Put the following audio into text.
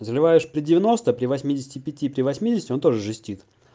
заливаешь при девяносто при восьмидесяти пяти при восьмидесяти он тоже жестит